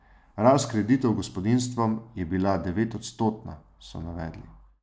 Rast kreditov gospodinjstvom je bila devetodstotna, so navedli.